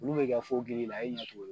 Olu bɛ kɛ fo gili la e ɲɛ t'o ye